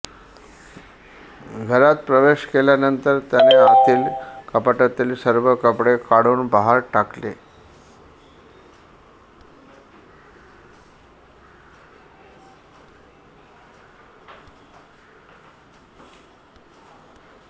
घरात प्रवेश केल्यानंतर त्याने आतील कपाटातील सर्व कपडे काढून बाहेर टाकले